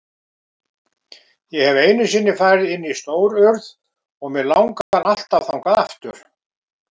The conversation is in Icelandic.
Ég hef einu sinni farið inn í Stórurð og mig langar alltaf þangað aftur.